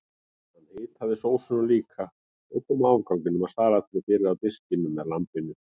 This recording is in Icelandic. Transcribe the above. Hún hitaði sósuna líka og kom afganginum af salatinu fyrir á diskunum með lambinu.